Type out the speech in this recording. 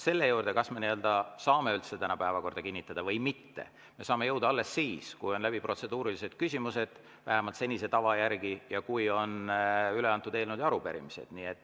Selle juurde, kas me üldse saame täna päevakorda kinnitada või mitte, me saame jõuda alles siis, kui on läbitud protseduurilised küsimused, vähemalt senise tava järgi, ja kui on üle antud eelnõud ja arupärimised.